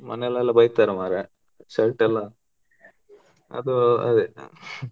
ಮನೆಲೆಲ್ಲಾ ಬೈತಾರೆ ಮಾರಾಯ shirt ಎಲ್ಲಾ ಅದು ಅದು ಅದೇ .